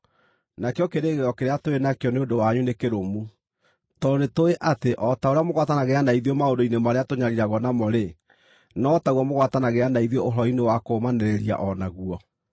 Nakĩo kĩĩrĩgĩrĩro kĩrĩa tũrĩ nakĩo nĩ ũndũ wanyu nĩ kĩrũmu, tondũ nĩtũũĩ atĩ o ta ũrĩa mũgwatanagĩra na ithuĩ maũndũ-inĩ marĩa tũnyariiragwo namo-rĩ, no taguo mũgwatanagĩra na ithuĩ ũhoro-inĩ wa kũũmanĩrĩria o naguo.